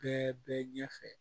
Bɛɛ bɛ ɲɛfɛ